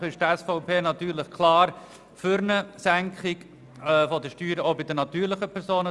Grundsätzlich ist die SVP natürlich klar für eine Senkung der Steuern, auch bei den natürlichen Personen.